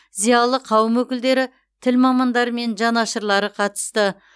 зиялы қауым өкілдері тіл мамандары мен жанашырлары қатысты